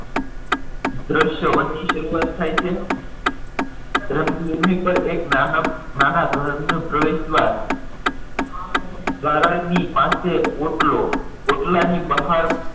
દ્રશ્યવન ની શરૂઆત થાય છે રંગભૂમ પર એક નાનકડું નાના ઘરનો પ્રવેશ દ્વાર દ્વારા ની પાસે ઓટલો ઓટલાની બહાર